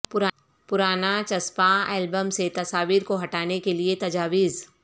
پرانا چسپاں ایلبمز سے تصاویر کو ہٹانے کیلئے تجاویز